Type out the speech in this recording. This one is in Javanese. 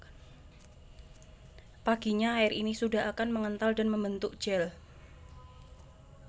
Paginya air ini sudah akan mengental dan membentuk gel